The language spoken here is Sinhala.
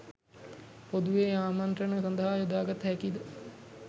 පොදුවේ ආමන්ත්‍රණ සඳහා යොදාගත හැකිද